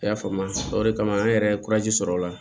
I y'a faamu o de kama an yɛrɛ ye sɔrɔ o la